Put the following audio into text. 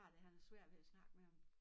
Har det han havde svært ved at snakke med ham